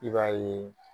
I b'a ye